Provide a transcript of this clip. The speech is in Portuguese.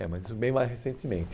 É, mas isso bem mais recentemente.